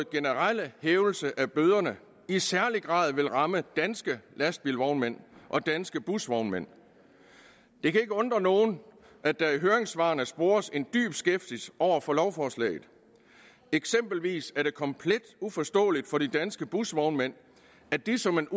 generelle hævelse af bøderne i særlig grad vil ramme danske lastbilvognmænd og danske busvognmænd det kan ikke undre nogen at der i høringssvarene spores en dyb skepsis over for lovforslaget eksempelvis er det komplet uforståeligt for de danske busvognmænd at de som en